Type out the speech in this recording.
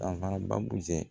Danfara baabu jɛ